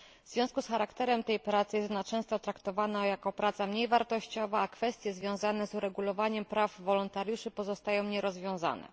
W związku z charakterem tej pracy jest ona często traktowana jako praca mniej wartościowa, a kwestie związane z uregulowaniem praw wolontariuszy pozostają nierozwiązane.